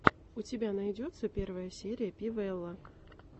у тебя найдется первая серия пи вэлла